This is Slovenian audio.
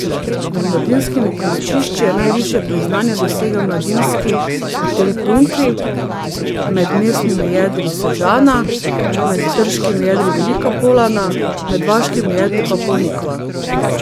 Med mladinskimi prenočišči je najvišje priznanje dosegel Mladinski hotel Punkl, med mestnimi jedri Sežana, med trškimi jedri Velika Polana, med vaškimi jedri pa Ponikva.